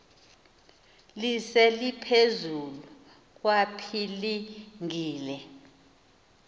lise liphezulu kwapilingile